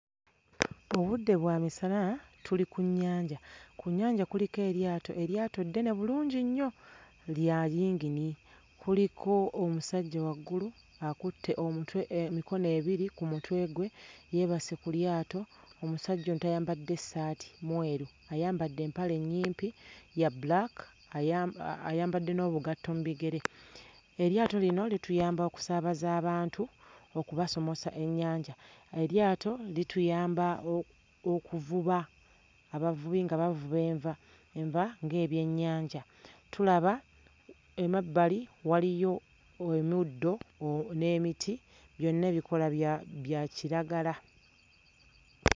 Obudde bwa misana tuli ku nnyanja. Ku nnyanja kuliko eryato, eryato ddene bulungi nnyo lya yingini, kuliko omusajja waggulu akutte omutwe emikono ebiri ku mutwe gwe yeebase ku lyato, omusajja ono tayambadde ssaati mweru ayambadde empale nnyimpi ya bbulaaka, aya ayambadde n'obugatto mu bigere. Eryato lino lituyamba okusaabaza abantu okubasomosa ennyanja. Eryato lituyamba okuvuba, abavubi nga bavuba enva, enva ng'ebyennyanja. Tulaba emabbali waliyo omuddo n'emiti byonna ebikoola bya bya kiragala.